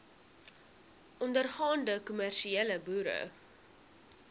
ondergaande kommersiële boere